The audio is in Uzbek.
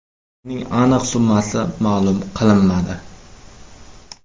Uning aniq summasi ma’lum qilinmadi.